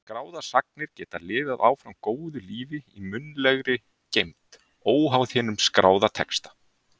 Skráðar sagnir geta lifað áfram góðu lífi í munnlegri geymd, óháð hinum skráða texta.